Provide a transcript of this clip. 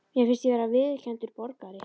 Mér fannst ég vera viðurkenndur borgari.